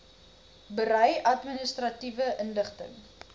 berei administratiewe inligting